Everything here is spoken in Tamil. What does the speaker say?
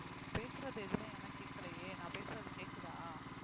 பேசறது எதுவுமே எனக்கு கேட்கலையே நான் பேசறது கேட்குதா